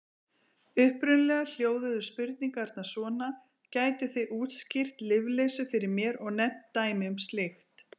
Upprunalega hljóðuðu spurningarnar svona: Gætuð þið útskýrt lyfleysu fyrir mér og nefnt dæmi um slíkt?